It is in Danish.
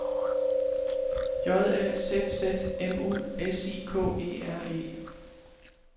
J A Z Z M U S I K E R E